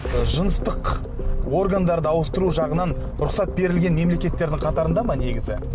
жыныстық органдарды ауыстыру жағынан рұқсат берілген мемлекеттердің қатарында ма негізі